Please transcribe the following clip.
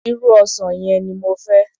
Irú ọsàn yẹn ni mo fẹ́.